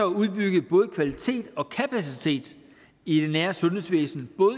udbygge både kvalitet og kapacitet i det nære sundhedsvæsen både